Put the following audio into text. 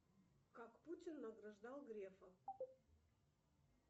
как путин награждал грефа